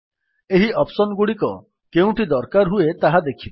ଏହି ଅପ୍ସନ୍ ଗୁଡିକ କେଉଁଠି ଦରକାର ହୁଏ ତାହା ଦେଖିବା